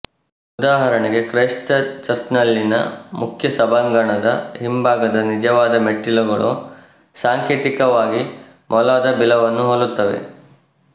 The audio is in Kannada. ಉದಾಹರಣೆಗೆ ಕ್ರೈಸ್ತ ಚರ್ಚ್ ನಲ್ಲಿನ ಮುಖ್ಯ ಸಭಾಂಗಣದ ಹಿಂಬಾಗದ ನಿಜವಾದ ಮೆಟ್ಟಿಲುಗಳು ಸಾಂಕೇತಿಕವಾಗಿ ಮೊಲದ ಬಿಲವನ್ನು ಹೋಲುತ್ತವೆ